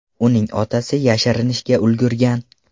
Uning otasi yashirinishga ulgurgan.